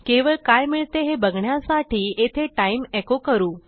केवळ काय मिळते हे बघण्यासाठी येथे टाइम एको करू